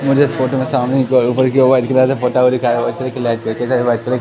मुझे इस फोटो में सामने की ओर ऊपर की ओर व्हाइट कलर से पोटा हुआ दिखाई व्हाइट कलर की लाइट व्हाइट कलर --